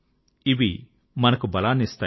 ఇవి మనకు బలాన్నిస్తాయి